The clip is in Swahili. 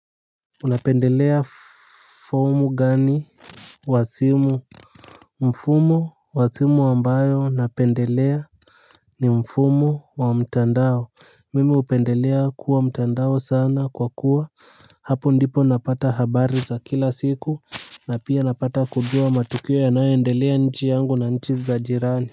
Unapendelea mfumo gani wa simu. Mfumo wa simu ambayo napendelea ni mfumo wa mtandao. Mimi hupendelea kuwa mtandao sana kwa kuwa hapo ndipo napata habari za kila siku. Na pia napata kujua matukio yanayoendelea nchi yangu na nchi za jirani.